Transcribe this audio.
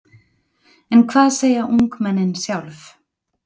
En hvað segja ungmennin sjálf?